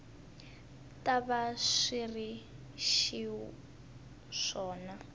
ta va swi ri xiswona